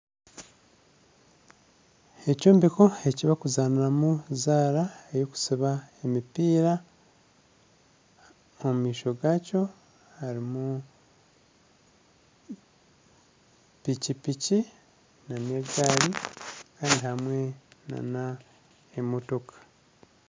Ekyombeko ekibakuzaniramu zaara eyokusiba emipiira omu maisho gakyo harimu piki nana egaari kandi hamwe nana emotoka.